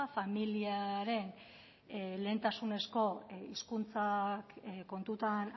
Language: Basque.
familiaren lehentasunezko hizkuntza kontutan